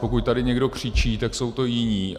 Pokud tady někdo křičí, tak jsou to jiní.